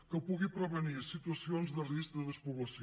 que pugui prevenir situacions de risc de despoblació